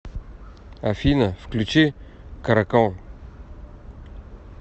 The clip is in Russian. афина включи каракал